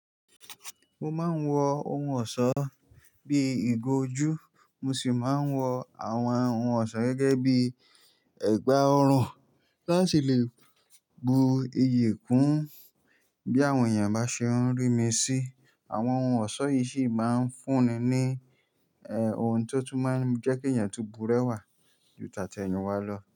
Mo máa ń wọ ohun ọ̀ṣọ́ bí ìgò ojú, mo sì máa ń wọ àwọn ohun ọ̀ṣọ́ gẹ́gẹ́ bí ẹ̀gbà ọrùn láti lè bu iyì kún bí àwọn èèyàn bá ṣe ń rí mi sí. Àwọn ohun ọ̀ṣọ́ yìí sì máa ń fún ni ohun tó tún máa ń jẹ́ kí èèyàn tó bu rẹwà ju tàtẹ̀yìnwa lọ.